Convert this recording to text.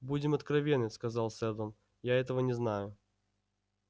будем откровенны сказал сэлдон я этого не знаю